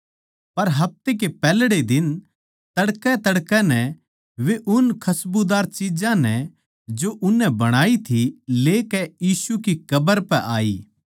पर हफ्ते कै पैहल्ड़े दिन तड़कैतड़कै नै वे उन खस्बुदार चिज्जां नै जो उननै बणाई थी लेकै यीशु की कब्र पै आई